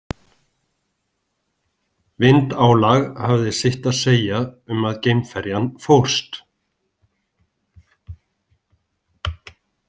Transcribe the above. Vindálag hafði sitt að segja um að geimferjan fórst.